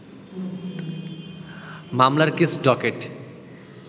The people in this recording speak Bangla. মামলার কেস ডকেট